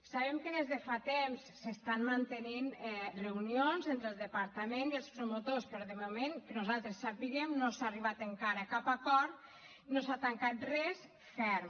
sabem que des de fa temps s’estan mantenint reunions entre el departament i els promotors però de moment que nosaltres sapiguem no s’ha arribat encara a cap acord no s’ha tancat res ferm